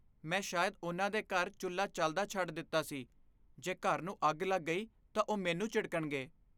ਮੈਂ ਸ਼ਾਇਦ ਉਨ੍ਹਾਂ ਦੇ ਘਰ ਚੁੱਲ੍ਹਾ ਚੱਲਦਾ ਛੱਡ ਦਿੱਤਾ ਸੀ। ਜੇ ਘਰ ਨੂੰ ਅੱਗ ਲੱਗ ਗਈ ਤਾਂ ਉਹ ਮੈਨੂੰ ਝਿੜਕਣਗੇ।